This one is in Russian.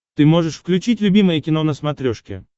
ты можешь включить любимое кино на смотрешке